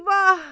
Eyvah!